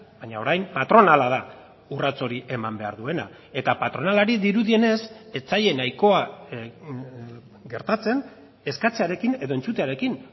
baina orain patronala da urrats hori eman behar duena eta patronalari dirudienez ez zaie nahikoa gertatzen eskatzearekin edo entzutearekin